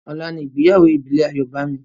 Ọlá ní ìgbéyàwó Ìbílè Ayobami